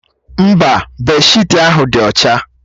Mba, bèdshịtị ahụ dị ọcha.